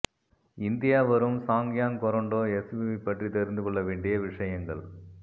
India வரும் சாங்யாங் Korando SUV பற்றி தெரிந்துகொள்ள வேண்டிய விஷயங்கள்